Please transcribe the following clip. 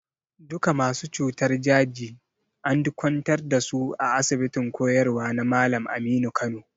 Duka masu cutar daji and kwantar da su a asibitin koyarwa na Malam Aminu Kano.